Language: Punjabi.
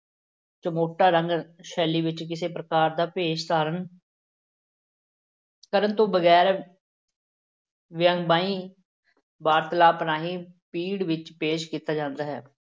ਚਮੋਟਾ ਰੰਗ ਸ਼ੈਲੀ ਵਿੱਚ ਕਿਸੇ ਪ੍ਰਕਾਰ ਦਾ ਭੇਸ ਧਾਰਨ ਕਰਨ ਤੋਂ ਬਗ਼ੈਰ ਵਿਅੰਗਮਈ ਵਾਰਤਲਾਪ ਰਾਹੀਂ ਭੀੜ ਵਿੱਚ ਪੇਸ਼ ਕੀਤਾ ਜਾਂਦਾ ਹੈ।